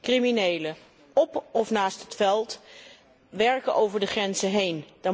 Criminelen op of naast het veld werken over de grenzen heen.